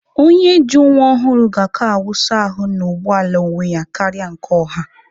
Onye ji nwa ọhụrụ ga-aka wụsa ahụ na ụgbọ ala onwe ya karịa nke ọha